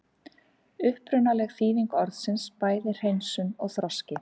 Upprunaleg þýðing orðsins er bæði hreinsun og þroski.